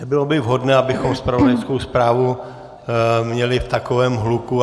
Nebylo by vhodné, abychom zpravodajskou zprávu měli v takovém hluku.